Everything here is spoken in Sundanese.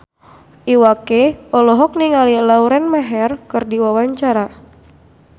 Iwa K olohok ningali Lauren Maher keur diwawancara